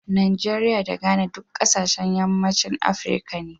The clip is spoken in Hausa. Najeriya da Ghana duk kasashen yammacin Afirka ne.